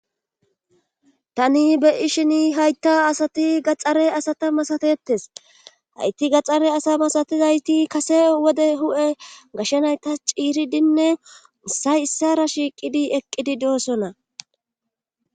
tani beyi shini haytta asati gaxxare asata masateetes hayti gaxxare asa masatizayti kase wode hu7e gashshanaytas ciiridinne ussay issara shiiqidi eqqidi doossona